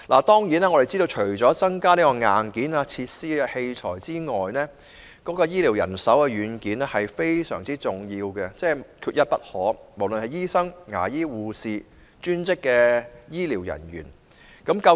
當然，我們知道，除了增加設施及器材等硬件外，醫療人手等軟件也非常重要，無論是醫生、牙醫、護士或專職醫療人員，亦缺一不可。